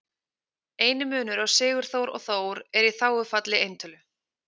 Eini munur á Sigurþór og Þór er í þágufalli eintölu.